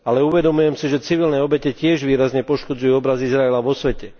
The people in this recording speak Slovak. Ale uvedomujem si, že civilné obete tiež výrazne poškodzujú obraz Izraela vo svete.